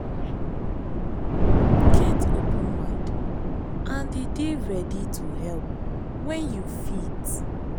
get open mind and dey ready to help when you fit